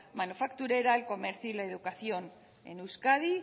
manufacturera el comercio y la educación en euskadi